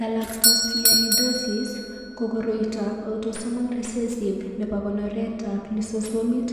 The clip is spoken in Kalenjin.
Galactosialidosis ko koroitoab Autosomal recessive nebo konoretab Lysosomit